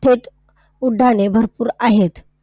थेट उड्डाणे भरपूर आहेत.